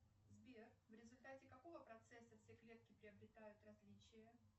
сбер в результате какого процесса все клетки приобретают различия